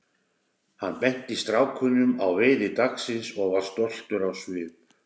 Hann benti strákunum á veiði dagsins og var stoltur á svip.